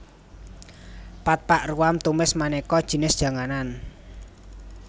Pad pak ruam tumis manéka jinis janganan